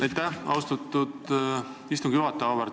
Aitäh, austatud istungi juhataja!